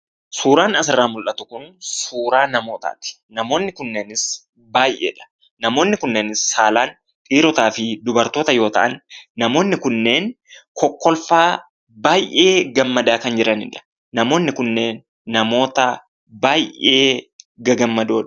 Suuraan asirraa mula'tu kun suuraa namootaati. Namoonni kunneenis baay'eedha. Namoonni kunneenis saalaan dhiirotaafi dubartoota yoo ta'an, namoonni kunneen kokkolfaa baay'ee gammadaa kan jiranidha. Namoonni kunneen baay'ee gagammadoodha.